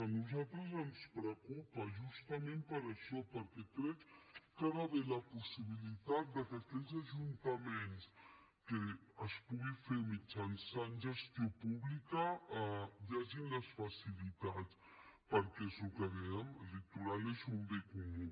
a nosaltres ens preocupa justament per això perquè crec que hi ha d’haver la possibilitat que aquells ajuntaments que es pugui fer mitjançant gestió pública hi hagin les facilitats perquè és el que dèiem el litoral és un bé comú